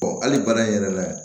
hali baara in yɛrɛ la